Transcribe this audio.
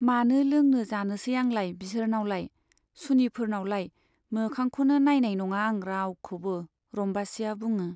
मानो लोंनो जानोसै आंलाय बिसोरनावलाय , सुनिफोरनावलाय मोखांखौनो नाइनाय नङा आं रावखौबो रम्बासीया बुङो।